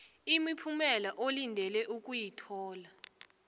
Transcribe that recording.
imiphumela olindele ukuyithola